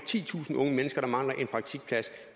titusind unge mennesker der mangler en praktikplads